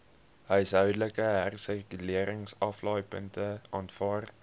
huishoudelike hersirkuleringsaflaaipunte aanvaar